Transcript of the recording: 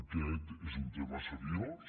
aquest és un tema seriós